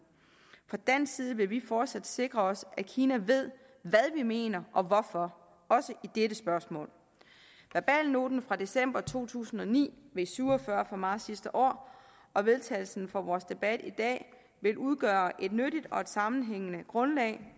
fra dansk side vil vi fortsat sikre os at kina ved hvad vi mener og hvorfor også i dette spørgsmål verbalnoten fra december to tusind og ni v syv og fyrre fra marts sidste år og vedtagelsen fra vores debat i dag vil udgøre et nyttigt og sammenhængende grundlag